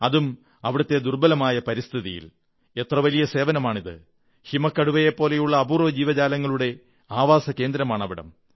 അതും അവിടത്തെ ദുർബ്ബലമായ പരിസ്ഥിതിയിൽ എത്ര വലിയ സേവനമാണിത് ഹിമക്കടുവയെപ്പോലുള്ള അപൂർവ്വ ജീവജാലങ്ങളുടെ ആവാസകേന്ദ്രമാണിവിടം